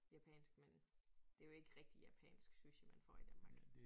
Japansk men det jo ikke rigtig japansk sushi man får i Danmark